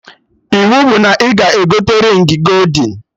Iwu bụ na ị ga-egote rịng goldin!